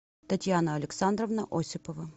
татьяна александровна осипова